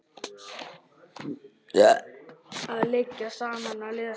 Að liggja saman og lesa.